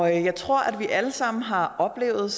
jeg tror at vi alle sammen har oplevet